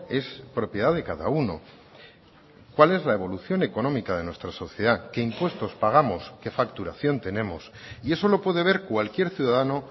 es propiedad de cada uno cuál es la evolución económica de nuestra sociedad qué impuestos pagamos qué facturación tenemos y eso lo puede ver cualquier ciudadano